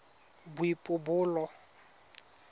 boipobolo